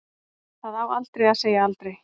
Það á aldrei að segja aldrei.